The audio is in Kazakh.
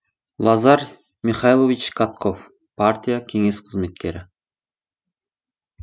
лазарь михайлович катков партия кеңес қызметкері